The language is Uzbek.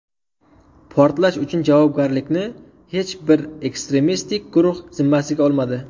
Portlash uchun javobgarlikni hech bir ekstremistik guruh zimmasiga olmadi.